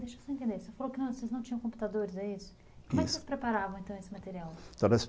Mas deixa só eu entender, você falou que vocês não tinham computadores, é isso? Isso! Como é que vocês preparavam então esse material?